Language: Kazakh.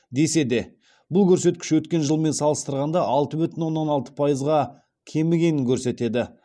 десе де бұл көрсеткіш өткен жылмен салыстырғанда алты бүтін оннан алты пайызға кемігенін көрсетеді